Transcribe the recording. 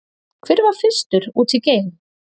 Hver var fyrstur út í geim?